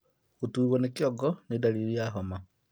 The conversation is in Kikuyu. Gũtuurwo nĩ kĩongo nĩ ndariri ya homa